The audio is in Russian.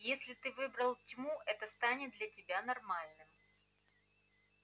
если ты выбрал тьму это станет для тебя нормальным